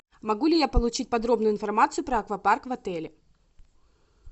могу ли я получить подробную информацию про аквапарк в отеле